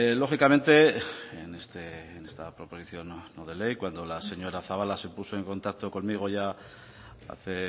lógicamente en esta proposición no de ley cuando la señora zabala se puso en contacto conmigo ya hace